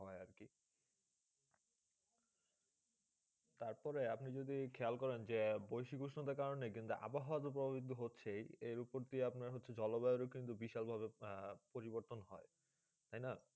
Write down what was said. তার পরে আপনি যে খেয়াল করে যে বেশ্বিক উসোণটো কারণে কিন্তু আবহাওয়া প্রবর্তিত হচ্ছেই কিন্তু এই উপরে জল বেআরে বিশাল ভাবে পরিবর্তন হয়ে